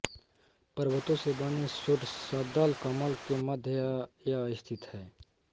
पर्वतों से बने षोडशदल कमल के मध्य यह स्थित है